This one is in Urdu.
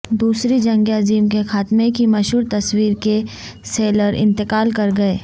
دوسری جنگ عظیم کے خاتمے کی مشہور تصویر کے سیلر انتقال کر گئے